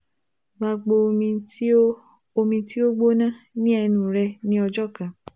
Gbagbo omi ti o omi ti o gbona ni ẹnu rẹ ni ọjọ kan